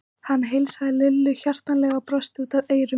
Hann heilsaði Lillu hjartanlega og brosti út að eyrum.